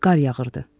Qar yağırdı.